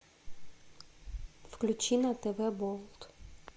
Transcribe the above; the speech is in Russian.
включи на тв болт